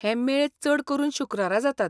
हे मेळ चड करून शुक्रारा जातात.